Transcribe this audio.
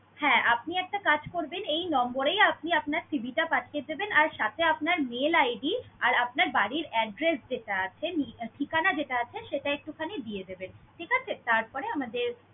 হ্যা, আপনি একটা কাজ করবেন। এই number এই আপনি আপনার CV টা পাঠিয়ে দেবেন আর সাথে আপনার mail id আর আপনার বাড়ির address যেটা আছে নি~ ঠিকানা যেটা আছে সেটা একটুখানি দিয়ে দিবেন, ঠিক আছে? তারপরে আমাদের